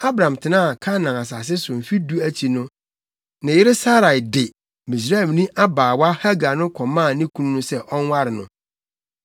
Abram tenaa Kanaan asase so mfe du akyi no, ne yere Sarai de Misraimni abaawa Hagar no kɔmaa ne kunu no sɛ ɔnware no.